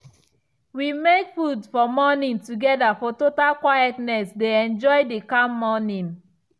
we make food for morning together for total quietness dey enjoy the calm morning.